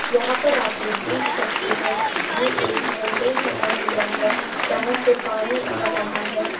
यहाँ पर आप लोग देख सकते हैं ये एक फोंटेन फाउंटेन बना हुआ है जहाँ से पानी आ रहा है।